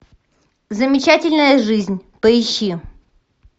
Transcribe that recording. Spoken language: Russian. замечательная жизнь поищи